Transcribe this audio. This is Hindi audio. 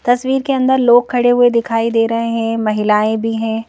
तस्वीर के अंदर लोग खड़े हुए दिखाई दे रहे हैं महिलाएं भी है।